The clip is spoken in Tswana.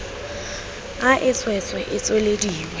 a e tswetswe e tswelediwa